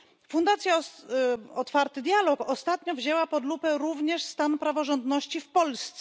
Fundacja Otwarty Dialog ostatnio wzięła pod lupę również stan praworządności w Polsce.